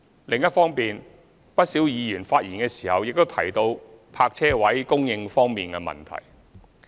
另一方面，不少議員發言時亦提到泊車位供應方面的問題。